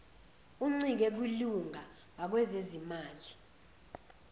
uncike kwilunga ngakwezezimali